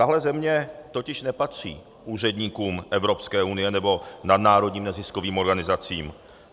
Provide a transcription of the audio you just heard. Takhle země totiž nepatří úředníkům Evropské unie nebo nadnárodním neziskovým organizacím.